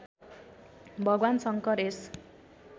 भगवान् शङ्कर यस